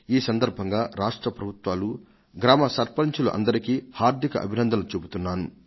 ఈ సందర్భంగా రాష్ట్ర ప్రభుత్వాలు గ్రామ సర్పంచులందరికీ హార్దిక అభినందనలు చెబుతున్నాను